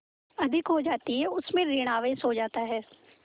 अधिक हो जाती है उसमें ॠण आवेश हो जाता है